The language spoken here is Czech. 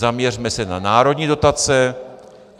Zaměřme se na národní dotace.